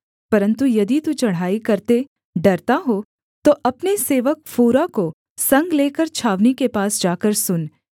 परन्तु यदि तू चढ़ाई करते डरता हो तो अपने सेवक फूरा को संग लेकर छावनी के पास जाकर सुन